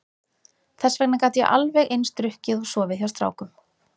Þess vegna gat ég alveg eins drukkið og sofið hjá strákum.